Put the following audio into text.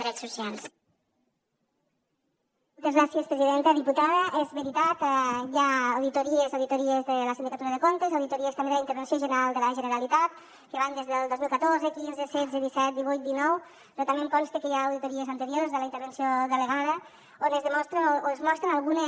diputada és veritat hi ha auditories auditories de la sindicatura de comptes auditories també de la intervenció general de la generalitat que van des del dos mil catorze quinze setze disset divuit dinou però també em consta que hi ha auditories anteriors de la intervenció delegada on es demostren o es mostren algunes